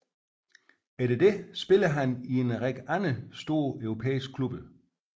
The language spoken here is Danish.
Siden spillede han i en række andre store europæiske klubber